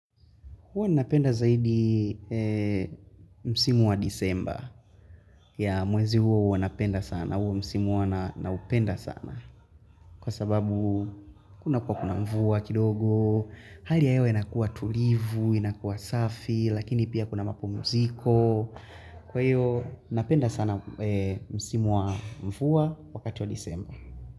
Huwa napenda zaidi msimu wa disemba ya mwezi huwa huwa napenda sana, huwa msimu huwa na upenda sana. Kwa sababu kuna kwa kuna mvua kidogo, hali ya inakuwa tulivu, inakuwa safi, lakini pia kuna mapumziko. Kwa hiyo napenda sana msimu wa mvua wakati wa disemba.